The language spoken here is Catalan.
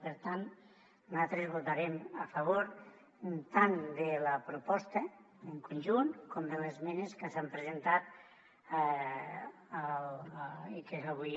per tant nosaltres votarem a favor tant de la proposta en conjunt com de les esmenes que s’han presentat i que avui